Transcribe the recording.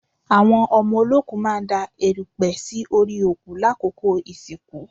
Àwọn ọmọ olóòkú máa ń da èrùpẹ̀ sí orí òkú lákòókò ìsìnkú